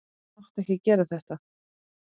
Þú mátt ekki gera þetta.